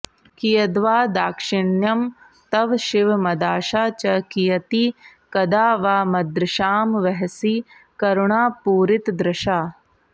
कियद्वा दाक्षिण्यं तव शिव मदाशा च कियती कदा वा मद्रक्षां वहसि करुणापूरितदृशा